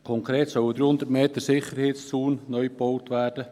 Konkret sollen 300 Meter Sicherheitszaun neu gebaut werden.